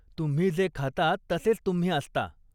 तुम्ही जे खाता तसेच तुम्ही असता.